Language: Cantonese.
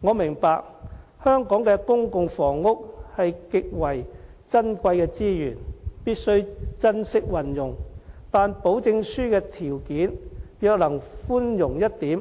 我明白香港的公共房屋是極為珍貴的資源，必須珍惜運用，但保證書的條件若能寬容一點，